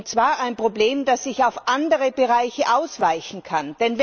Und zwar ein Problem, das sich auf andere Bereiche ausweiten kann.